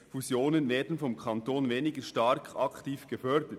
«Fusionen werden vom Kanton weniger aktiv gefördert.